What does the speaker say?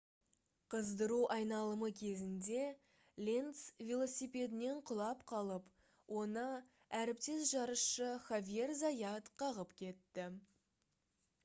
қыздыру айналымы кезінде ленц велосипедінен құлап қалып оны әріптес жарысшы хавьер зайат қағып кетті